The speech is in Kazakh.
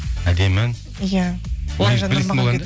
әдемі ән иә